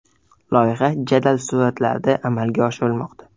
Loyiha jadal sur’atlarda amalga oshirilmoqda.